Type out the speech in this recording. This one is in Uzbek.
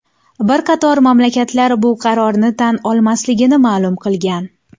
Bir qator mamlakatlar bu qarorni tan olmasligini ma’lum qilgan.